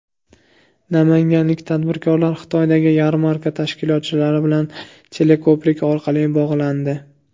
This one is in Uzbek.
Namanganlik tadbirkorlar Xitoydagi yarmarka tashkilotchilari bilan teleko‘prik orqali bog‘landi.